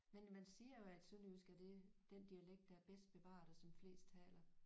Men man siger jo at sønderjysk er det den dialekt der er bedst bevaret og som flest taler